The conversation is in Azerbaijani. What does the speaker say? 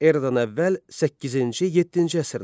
Eradan əvvəl səkkizinci-yeddinci əsrlər.